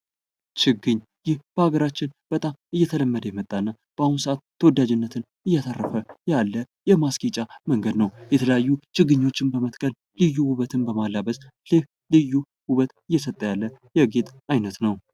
ችግኝ ይህ ሃገራችን እየተለመደ የመጣ እና ባሁን ሰአት ተወዳጅነትን እያተረፈ ያለ የማስጌጫ መንገድ ነው። የተለያዩ ችግኞችን በመትከል ልዩ ዉበትን በማላበስ ልዩ ልዩ ዉበት እየሰጠ ያለ የጌጥ አይነት ነው።